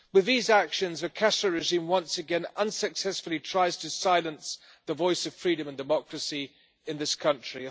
With these actions, the Castro regime once again unsuccessfully tries to silence the voice of freedom and democracy in the country.